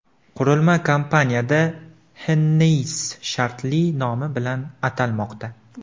Qurilma kompaniyada Hennessy shartli nomi bilan atalmoqda.